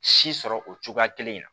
Si sɔrɔ o cogoya kelen in na